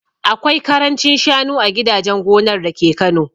Akwai karancin shanu a gidajen gonar dake Kano